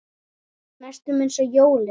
Næstum eins og jólin.